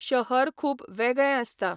शहर खूब वेगळें आसता.